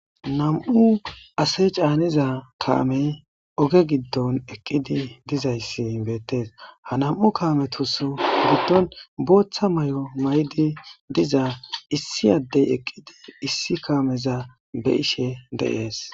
nam7u ase caaniza kaamey oge giddon eqqidi dizayssi beettees ha nam7u kaametus giddon booththa may7o may7di diza issi addey eqqidi issi kaameza be ishe de7ees